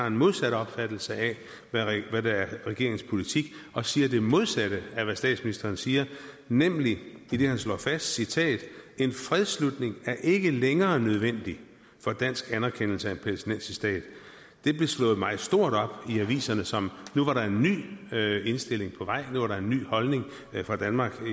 en modsat opfattelse af hvad der er regeringens politik og siger det modsatte af hvad statsministeren siger nemlig idet han slår fast citat en fredsslutning er ikke længere nødvendig for dansk anerkendelse af en palæstinensisk stat det blev slået meget stort op i aviserne som at nu var der en ny indstilling på vej nu var der en ny holdning fra danmark